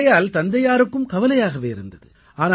ஆகையினால் தந்தையாருக்கும் கவலையாகவே இருந்தது